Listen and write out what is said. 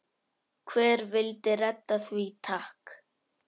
Hver vill redda því takk?